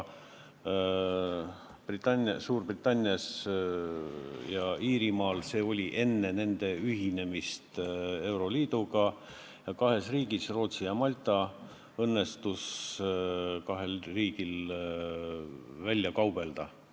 Suurbritannias ja Iirimaal oli see nii ka enne nende ühinemist euroliiduga ja kahel riigil, Rootsil ja Maltal, õnnestus veel see määr välja kaubelda.